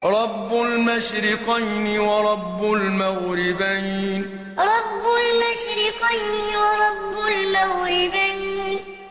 رَبُّ الْمَشْرِقَيْنِ وَرَبُّ الْمَغْرِبَيْنِ رَبُّ الْمَشْرِقَيْنِ وَرَبُّ الْمَغْرِبَيْنِ